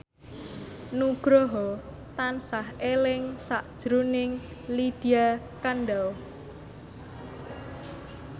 Nugroho tansah eling sakjroning Lydia Kandou